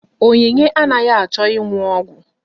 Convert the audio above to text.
Onyinye anaghị achọ ịnụ ọgwụ.